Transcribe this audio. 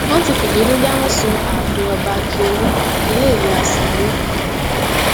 wọn ti fìbínú dáná sun ààfin ọba ákíọlù ilé ìyá sanwó